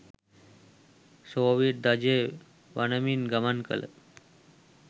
Soviet ධජය වනමින් ගමන් කළ